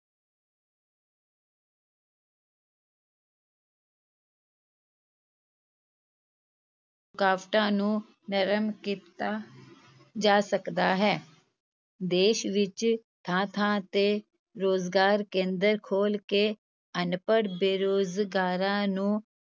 ਕਾਵਟਾਂ ਨੂੰ ਨਰਮ ਕੀਤਾ ਜਾ ਸਕਦਾ ਹੈ, ਦੇਸ ਵਿਚ ਥਾਂ-ਥਾਂ 'ਤੇ ਰੁਜ਼ਗਾਰ-ਕੇਂਦਰ ਖੋਲ੍ਹ ਕੇ ਅਨਪੜ੍ਹ ਬੇਰੁਜ਼ਗਾਰਾਂ ਨੂੰ